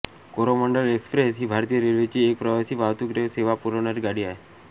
Coromandel Express ही भारतीय रेल्वेची एक प्रवासी वाहतूक सेवा पुरवणारी गाडी आहे